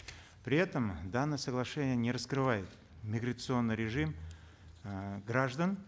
при этом данное соглашение не раскрывает миграционный режим э граждан